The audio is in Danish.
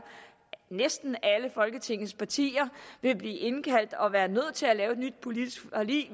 næsten alle folketingets partier skal indkaldes og være nødt til at lave et nyt politisk forlig